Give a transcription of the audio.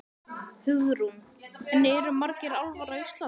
Hugrún: En eru margir álfar á Íslandi?